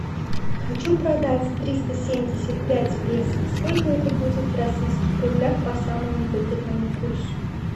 хочу продать триста семьдесят пять песо сколько это будет в российских рублях по самому выгодному курсу